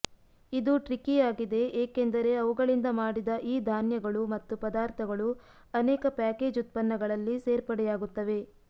ಇದು ಟ್ರಿಕಿ ಆಗಿದೆ ಏಕೆಂದರೆ ಅವುಗಳಿಂದ ಮಾಡಿದ ಈ ಧಾನ್ಯಗಳು ಮತ್ತು ಪದಾರ್ಥಗಳು ಅನೇಕ ಪ್ಯಾಕೇಜ್ ಉತ್ಪನ್ನಗಳಲ್ಲಿ ಸೇರ್ಪಡೆಯಾಗುತ್ತವೆ